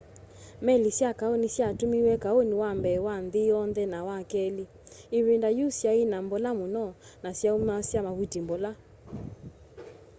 meli sya kaũ ni syatumiiwe kaũni wa mbee wa nthi yonthe na wa keli ivinda yiũ syai na mbola muno na syaumasya mavuti mbola